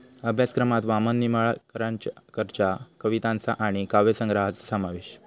अभ्यासक्रमात वामन निंबाळकरच्या कवितांचा आणि काव्यसंग्रहाचा समावेश